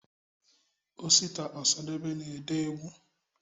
osita osadebe na ede egwụ